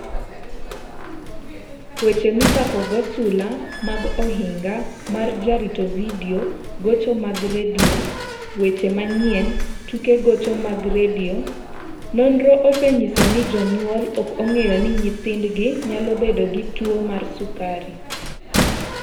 Weche Michakogo Sula mag Ohinga mar Jarito Vidio Gocho mag Radio Weche Manyien Tuke Gocho mag Radio Nonro osenyiso ni jonyuol ok ong'eyo ni nyithindgi nyalo bedo gi tuwo mar sukari.